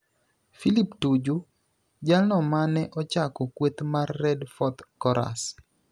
Philip Tuju, jalno mane ochako kweth mar Red Fourth Chorus